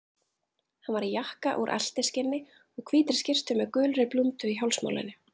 Hann var í jakka úr eltiskinni og hvítri skyrtu með gulri blúndu í hálsmálinu.